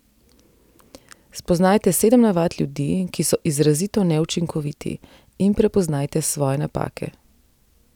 Spoznajte sedem navad ljudi, ki so izrazito neučinkoviti, in prepoznajte svoje napake.